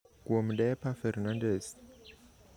Kuom: Deepa Ferndandes